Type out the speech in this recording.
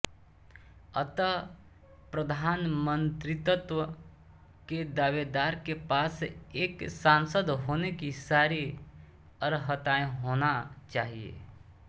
अतः प्रधानमंत्रित्व के दावेदार के पास एक सांसद होने की सारी अर्हताएँ होना चाहिये